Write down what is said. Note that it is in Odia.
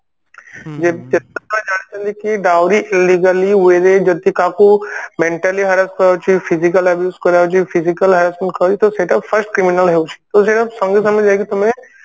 ଜାଣିଛନ୍ତି ଦାଉରୀ illegally way ରେ ଯଦି କାହାଠୁ Mentally hearse କରାଯାଉଛି physically abuse କରାଯାଉଛି physically Harassment କରାଯାଉଛି ତ ସେଇଟା କୁ first criminal ହାଉଛି କମ ସେ କମ ଯାଇକି ତମେ